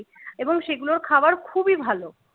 এবং সেগুলোর খাবার খুবই ভালো